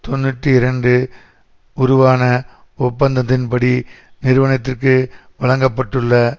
தொன்னூற்றி இரண்டு உருவான ஒப்பந்தத்தின்படி நிறுவனத்திற்கு வழங்க பட்டுள்ள